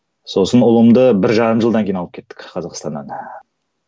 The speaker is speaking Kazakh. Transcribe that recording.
сосын ұлымды бір жарым жылдан кейін алып кеттік қазақстаннан